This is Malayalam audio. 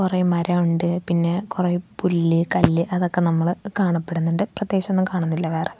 കൊറേ മരമുണ്ട് പിന്നെ കൊറേ പുല്ല് കല്ല് അതൊക്കെ നമ്മള് കാണപ്പെടുന്നുണ്ട് പ്രത്യേകിച്ചൊന്നും കാണുന്നില്ല വേറെ.